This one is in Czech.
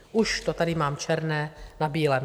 Už to tady mám černé na bílém.